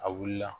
A wulila